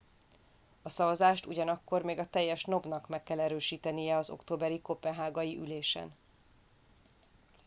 a szavazást ugyanakkor még a teljes nob nak meg kell erősítenie az októberi koppenhágai ülésén